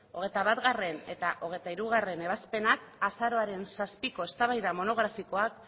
hogeita batgarrena eta hogeita hirugarrena ebazpenak azaroaren zazpiko eztabaida monografikoan